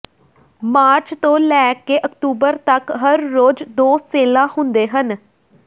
March ਤੋਂ ਲੈ ਕੇ ਅਕਤੂਬਰ ਤਕ ਹਰ ਰੋਜ਼ ਦੋ ਸੇਲਾਂ ਹੁੰਦੇ ਹਨ